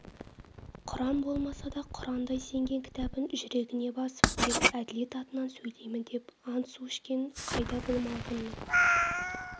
құран болмаса да құрандай сенген кітабын жүрегіне басып тек әділет атынан сөйлеймін деп ант-су ішкен қайда бұл малғұнның